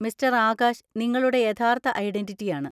Mister Akash നിങ്ങളുടെ യഥാർത്ഥ ഐഡന്‍റിറ്റിയാണ്.